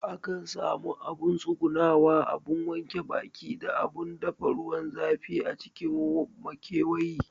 Akan sami abun tsugunawa, abun wanke baki da abun dafa ruwan zafi a cikin makewayi